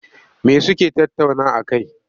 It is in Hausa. Me suke tattauna a kai?